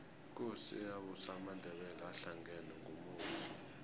ikosi eyabusa amandebele ahlangena ngumusi